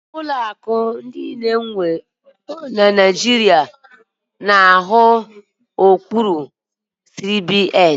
Ụlọ akụ niile ndị enwere na Naijiria na-arụ n'okpuru CBN.